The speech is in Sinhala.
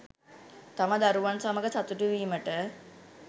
තම දරුවන් සමඟ සතුටුවීමට